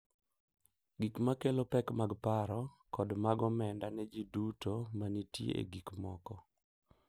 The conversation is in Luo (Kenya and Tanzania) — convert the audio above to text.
Gik ma kelo pek mag paro, kod mag omenda ne ji duto ma nitie e gik moko.